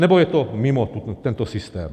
Nebo je to mimo tento systém?